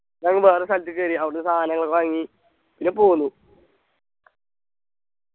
നങ്ങ വേറൊരു സ്ഥലത്തേക്ക് കേറി അവിടെന്നു സാധനങ്ങളൊക്കെ വാങ്ങി പിന്നെ പോന്നു